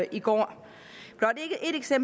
i går jeg